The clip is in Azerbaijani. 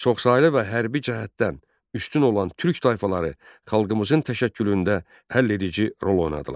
Çoxsaylı və hərbi cəhətdən üstün olan türk tayfaları xalqımızın təşəkkülündə həlledici rol oynadılar.